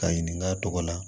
Ka ɲininka a tɔgɔ la